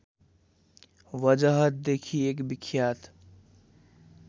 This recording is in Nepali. वजहदेखि एक विख्यात